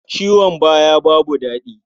Ciwon baya babu daɗi.